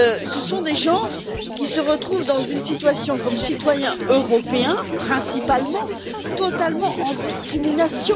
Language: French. Ce sont des gens qui se retrouvent dans une situation comme citoyens européens, principalement, totalement en discrimination.